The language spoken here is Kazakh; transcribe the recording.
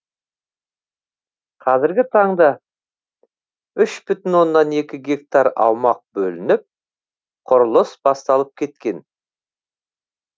қазіргі таңда үш бүтін оннан екі гектар аумақ бөлініп құрылыс басталып кеткен